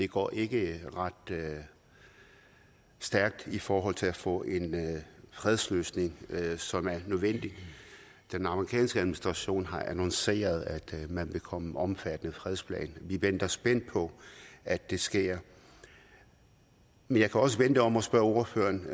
går ikke ret stærkt i forhold til at få en fredsløsning som er nødvendig den amerikanske administration har annonceret at man vil komme omfattende fredsplan vi venter spændt på at det sker jeg kan også vende den om og spørge ordføreren